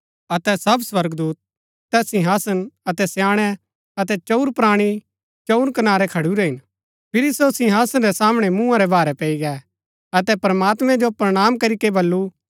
अतै सब स्वर्गदूत तैस सिंहासन अतै स्याणै अतै चंऊर प्राणी रै चंऊर कनारै खडुरै हिन फिरी सो सिंहासन रै सामणै मूँहा रै भारै पैई गै अतै प्रमात्मैं जो प्रणाम करीके बल्लू